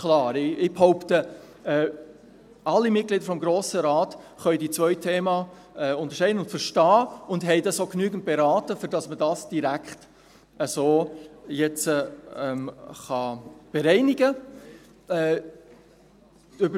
Ich behaupte: Alle Mitglieder des Grossen Rates können die beiden Themen unterscheiden und verstehen und haben diese auch genügend beraten, damit man dies nun direkt bereinigen kann.